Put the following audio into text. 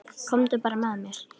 Komdu bara með mér.